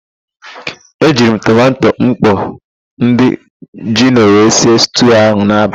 E jiri m tomanto mkpọ ndị jino wee sie stuu ahụ n'abalị.